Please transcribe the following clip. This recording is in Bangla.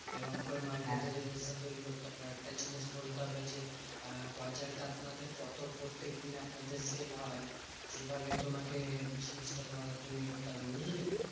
এরম করে market এ relation তৈরী করতে হবে। একটা জিনিস বলতে হবে যে, আহ গজালটা আপনাদের কত প্রত্যেকদিন আপনাদের sell হয়? এভাবে তোমাকে জিনিসটা তোমাকে তৈরী করতে হবে বুঝলে?